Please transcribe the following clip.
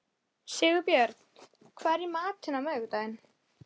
Snæborg, hvað er í dagatalinu mínu í dag?